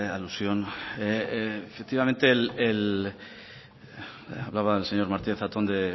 alusión efectivamente hablaba el señor martínez zatón de